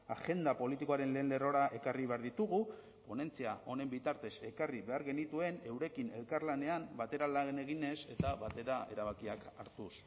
agenda politikoaren lehen lerrora ekarri behar ditugu ponentzia honen bitartez ekarri behar genituen eurekin elkarlanean batera lan eginez eta batera erabakiak hartuz